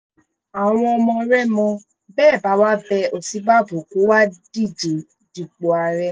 àwọn ọmọ rẹ́mọ bẹ́ ẹ bá wá bẹ́ òsínbàbò kó wáá díje dupò ààrẹ